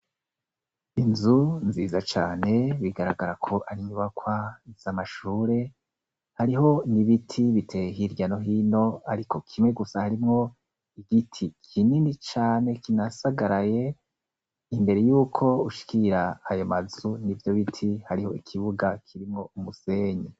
Inzu nziza cane, bigaragara ko ari inyubakwa z’amashure. Hariho n’ibiti biteye hirya no hino, ariko kimwe gusa harimwo igiti kinini cane kinasagaraye. Imbere y'uko ushikira ayo mazu n'ivyo biti, hariho ikibuga kirimwo umusenyi.